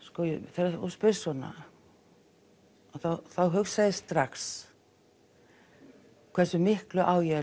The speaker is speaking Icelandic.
þegar þú spyrð svona þá hugsa ég strax hversu miklu á ég að